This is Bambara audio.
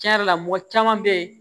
Tiɲɛ yɛrɛ la mɔgɔ caman bɛ yen